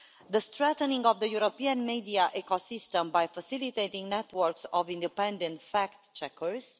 the strengthening of the European Media Ecosystem by facilitating networks of independent fact-checkers